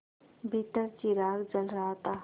भीतर चिराग जल रहा था